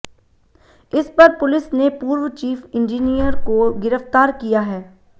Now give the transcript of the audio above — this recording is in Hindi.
इस पर पुलिस ने पूर्व चीफ इंजीनियर को गिरफ्तार किया है